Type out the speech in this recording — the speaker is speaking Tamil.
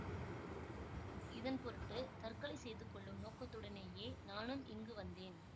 இதன் பொருட்டு தற்கொலை செய்து கொள்ளும் நோக்கத்துடனேயே நானும் இங்கு வந்தேன்